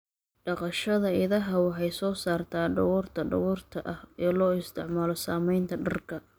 Dhaqashada idaha waxay soo saartaa dhogorta dhogorta ah ee loo isticmaalo samaynta dharka.